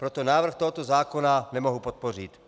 Proto návrh tohoto zákona nemohu podpořit.